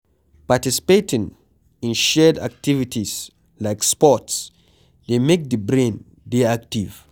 Participating in shared activities like sports dey make di brain dey active